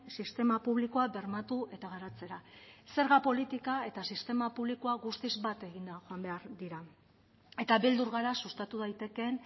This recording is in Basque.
sistema publikoa bermatu eta garatzera zerga politika eta sistema publikoa guztiz bat eginda joan behar dira eta beldur gara sustatu daitekeen